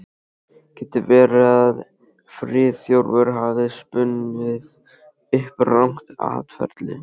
Getur verið að Friðþjófur hafi spunnið upp rangt atferli?